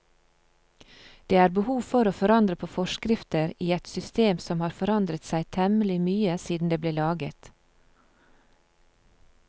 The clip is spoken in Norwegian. Det er behov for å forandre på forskrifter i et system som har forandret seg temmelig mye siden det ble laget.